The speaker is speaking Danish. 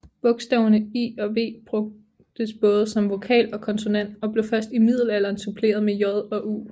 Bogstaverne I og V brugtes både som vokal og konsonant og blev først i middelalderen suppleret med J og U